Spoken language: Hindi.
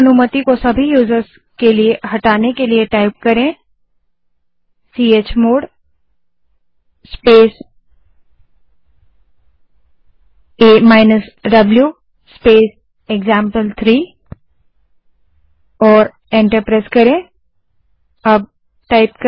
सभी यूज़र्स के लिए राइट अनुमति हटाने के लिए चमोड़ स्पेस a द्व स्पेस एक्जाम्पल3 कमांड टाइप करें और एंटर दबायें